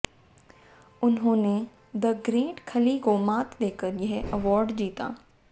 उन्होंने the great Khali को मात देकर यह अवॉर्ड जीता